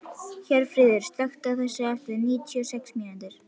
Hjörfríður, slökktu á þessu eftir níutíu og sex mínútur.